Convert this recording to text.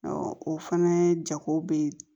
o fana jago bɛ